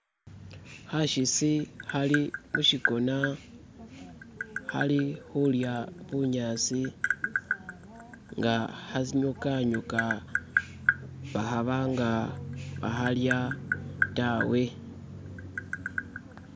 Khakitsi khali mukhigona khali khulya bunyatsi nga khanyukhanyukha bakhaabanga bakaalya tawe